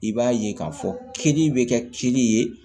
I b'a ye k'a fɔ kini bɛ kɛ kli ye